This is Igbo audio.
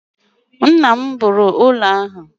Nna m rụrụ ụlọ ahụ.